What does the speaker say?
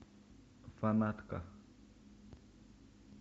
фанатка